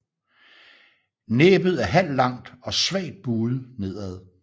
Næbet er halvlangt og svagt buet nedad